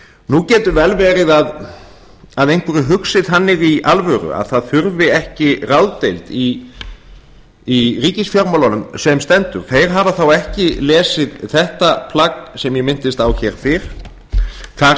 nú getur vel verið að einhver hugsi þannig í alvöru að það þurfi ekki ráðdeild í ríkisfjármálunum sem stendur þeir hafa þá ekki lesið þetta plagg sem ég minntist á hér fyrr þar